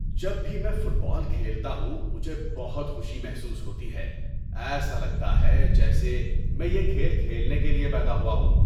جب بھی میں فٹ بال کھیلتا ہوں، مجھے بہت خوشی محسوس ہوتی ہے۔ ایسا لگتا ہے جیسے میں یہ کھیل کھیلنے کے لیے پیدا ہوا ہوں۔